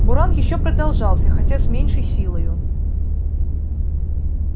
буран ещё продолжался хотя с меньшей силою